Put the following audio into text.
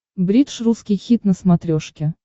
бридж русский хит на смотрешке